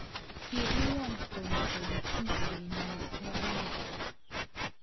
Ki iyan tom kole tupchenyi Johana